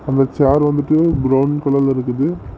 இந்த சேர் வந்துட்டு ப்ரவுன் கலர்ல இருக்குது.